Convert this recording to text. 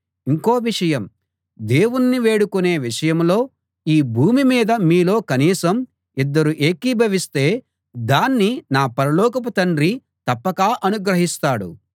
ఇంకో విషయం దేవుణ్ణి వేడుకొనే విషయంలో ఈ భూమి మీద మీలో కనీసం ఇద్దరు ఏకీభవిస్తే దాన్ని నా పరలోకపు తండ్రి తప్పక అనుగ్రహిస్తాడు